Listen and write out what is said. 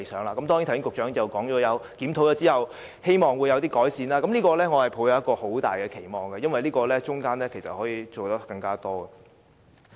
不過，局長剛才亦提到，希望在檢討後能有所改善，我對此抱有很大的期望，因為局方可從中做得更多。